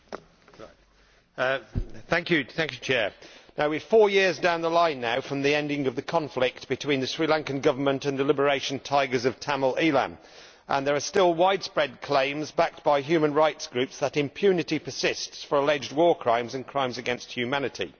Mr President, we are now four years down the line from the end of the conflict between the Sri Lankan Government and the Liberation Tigers of Tamil Eelam and there are still widespread claims, backed by human rights groups, that impunity persists for alleged war crimes and crimes against humanity.